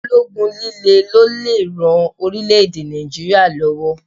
Ológun líle ló lè ran orílè-èdè Nàìjíríà lọ́wọ́.